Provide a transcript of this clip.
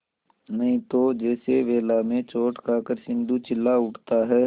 नहीं तो जैसे वेला में चोट खाकर सिंधु चिल्ला उठता है